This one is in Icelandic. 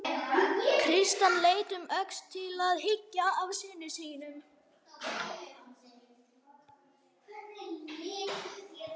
Christian leit um öxl til þess að hyggja að syninum.